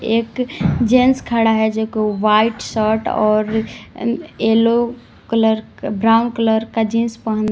एक जेंट्स खड़ा है जो कि व्हाइट शर्ट और अह येलो कलर का ब्राउन कलर का जींस पहना--